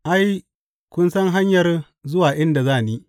Ai, kun san hanyar zuwa inda za ni.